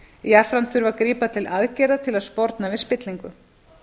jafnframt þurfi að grípa til aðgerða til að sporna við spillingu